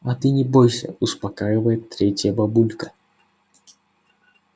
а ты не бойся успокаивает третья бабулька